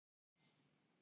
Brotist inn í Hátækni